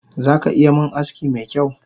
Zaka iya min aski mekyau?